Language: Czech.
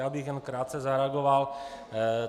Já bych jen krátce zareagoval.